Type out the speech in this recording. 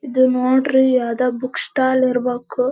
ಇದು ನೋಡ್ರಿ ಯಾವ್ದೋ ಬುಕ್ ಸ್ಟಾಲ್ ಇರ್ಬೇಕು-